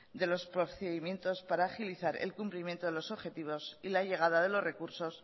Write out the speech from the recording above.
de los procedimientos para agilizar el cumplimiento de los objetivos y la llegada de los recursos